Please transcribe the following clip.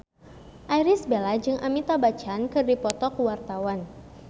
Irish Bella jeung Amitabh Bachchan keur dipoto ku wartawan